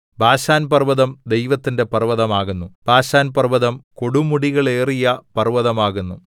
ബാശാൻപർവ്വതം ദൈവത്തിന്റെ പർവ്വതമാകുന്നു ബാശാൻപർവ്വതം കൊടുമുടികളേറിയ പർവ്വതമാകുന്നു